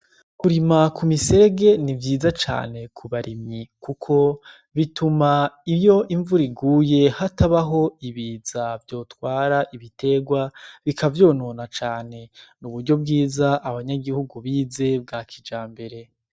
Kurima kumiserege nivyiza cane kubarimyi kuko bituma iyo invura iguye hatabaho ibiza vyotwara ibitegwa bikavyonona cane n'uburyo bwiza abanyagihugu bize bwakijambere.